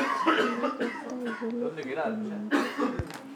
Ole ikertoi kongetu ama eng chii tugul